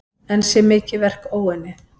Enn sé mikið verk óunnið.